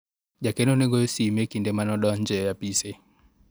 jakeno ne goyo sime e kinde mane adonjo e apise